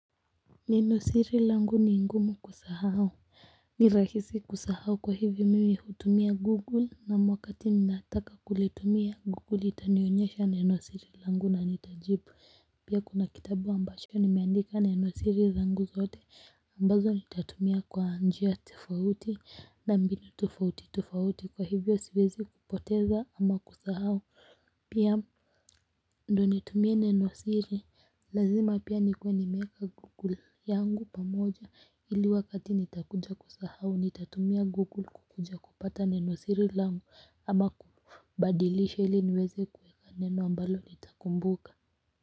Nenosiri langu ni ngumu kusahau, ni rahisi kusahau kwa hivyo mimi hutumia google ama wakati ninataka kulitumia google itanionyesha nenosiri langu na nitajibu pia kuna kitabu ambacho nimeandika nenosiri zangu zote ambazo nitatumia kwa njia tofauti na mbinu tofauti tofauti kwa hivyo siwezi kupoteza ama kusahau pia ndo nitumie neno siri lazima pia nikuwe nimeeka google yangu pamoja ili wakati nitakuja kusahau nitatumia google kukuja kupata neno siri langu ama kubadilisha ili niweze kuweka neno ambalo nitakumbuka.